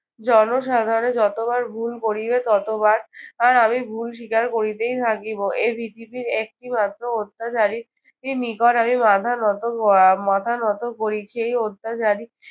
জনসাধারণ যতবার ভুল করিবে ততবার আর আমি ভুল স্বীকার করিতেই থাকিব। এর ভিত্তিতে একটিমাত্র অত্যাচারীর নিকট আমি মাথা নত আহ মাথা নত করি। সেই অত্যাচারী